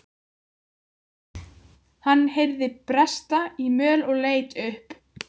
Hann heyrði bresta í möl og leit upp.